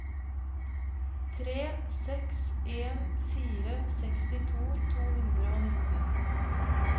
tre seks en fire sekstito to hundre og nitten